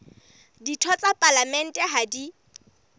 ditho tsa palamente ha di